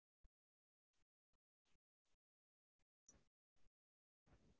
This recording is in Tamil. ஆஹ் இல்ல. incase எதாச்சும்னாக்க நா உங்களுக்கு call பண்ணி கேட்டுக்குறேன்.